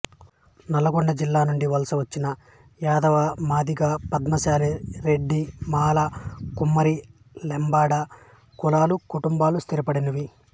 నల్లగొండ జిల్లా నుండి వలసవచ్చిన యాదవమాదిగ పద్మశాలి రెడ్డి మాల కుమ్మరి లంబాడ కులాల కుటుంబాలు స్థిరపడినవి